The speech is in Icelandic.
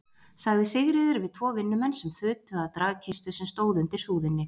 sagði Sigríður við tvo vinnumenn sem þutu að dragkistu sem stóð undir súðinni.